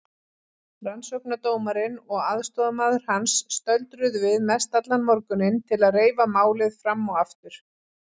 Rannsóknardómarinn og aðstoðarmaður hans stöldruðu við mestallan morguninn til að reifa málið fram og aftur.